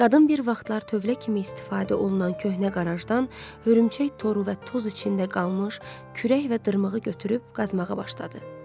Qadın bir vaxtlar tövlə kimi istifadə olunan köhnə qarajdan hörümçək toru və toz içində qalmış kürək və dırmığı götürüb qazmağa başladı.